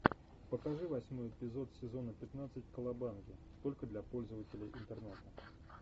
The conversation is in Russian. покажи восьмой эпизод сезона пятнадцать колобанги только для пользователей интернета